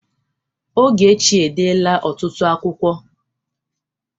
Ọgechi e dela ọtụtụ akwụkwo